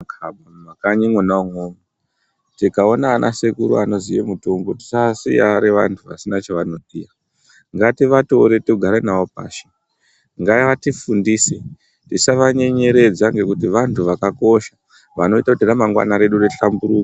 Mukanyi mwona imwomwo, tikaona anasekuru anoziya mutombo tisavasiya ari anhu asina chavanoita. Ngativatore togara navo pashi. Ngavatifundise, tisavanyenyeredza ngekuti vantu vakakosha vanoita kuti ramangwana redu rihlamburuke.